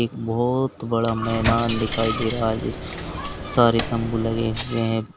एक बहुत बड़ा मैदान दिखाई दे रहा है जिसमें बहुत सारे तंबू लगे हुए हैं।